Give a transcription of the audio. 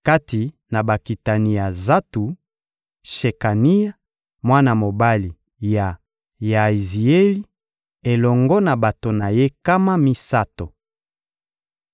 Kati na bakitani ya Zatu: Shekania, mwana mobali ya Yaazieli, elongo na bato na ye nkama misato.